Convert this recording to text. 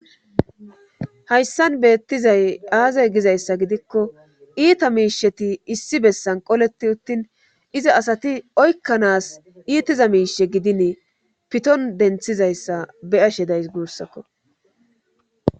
Hayssan beettizay aazay gizayssa gidikko iita miisheti issi bessan qoleti uttin iza asati oykkanaas iitiza miishe gidin piton denthizayssa be ashe days guussakko